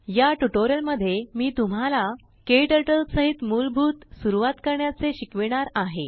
याट्यूटोरियल मध्ये मी तुम्हालाKTurtleसहित मूलभूत सुरुवात करण्याचे शिकविणार आहे